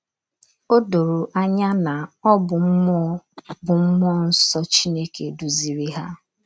O doro anya na ọ bụ mmụọ bụ mmụọ nsọ Chineke duziri ha.